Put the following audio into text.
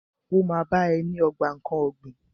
Ó ma bá ẹ ní ogbà nkán ọ̀gbìn.